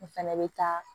N fɛnɛ bɛ taa